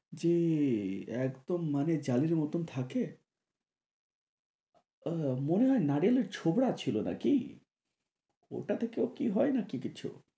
যে একদম মানে জালির মতন থাকে আহ মনে হয় নারকেলের ছোবরা ছিলো নাকি? ওটাতে কেউ কি হয় নাকি কিছু?